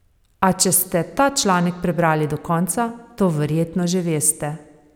A če ste ta članek prebrali do konca, to verjetno že veste.